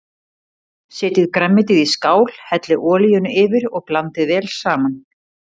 Setjið grænmetið í skál, hellið olíunni yfir og blandið vel saman.